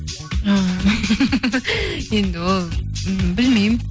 і енді ол ммм білмеймін